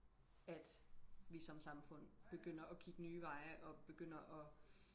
at vi som samfund begynder og kigge nye veje og begynder og